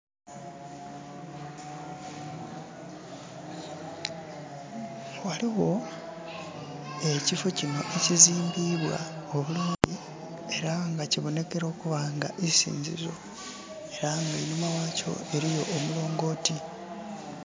Ghaligho ekiffo kinho ekizimbibwa obulungi era nga kibonekera okuba nti iisinzizo era nga einhuma ghakyo eliyo omulongoti.